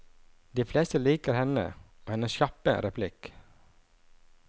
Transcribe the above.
De fleste liker henne og hennes kjappe replikk.